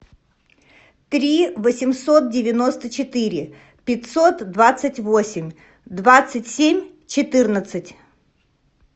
три восемьсот девяносто четыре пятьсот двадцать восемь двадцать семь четырнадцать